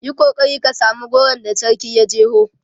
Yi kokari ka samu goron da sarkin ya jeho!